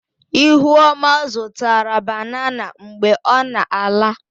Ihuoma zụtara banana mgbe ọ na-ala.